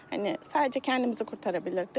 Hani sadəcə kəndimizi qurtara bilərdik.